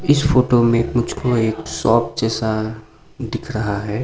इस फोटो में मुझको एक शॉप जैसा दिख रहा है।